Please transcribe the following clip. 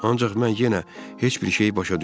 Ancaq mən yenə heç bir şey başa düşmürəm.